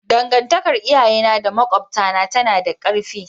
Dangantakar iyayena da makwabtana tana da ƙarfi.